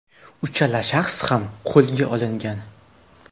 Uchala shaxs ham qo‘lga olingan.